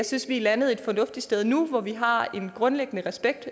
synes vi er landet et fornuftigt sted nu hvor vi har en grundlæggende respekt